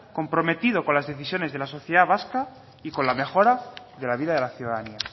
comprometido con las decisiones de la sociedad vasca y con la mejora de la vida de la ciudadanía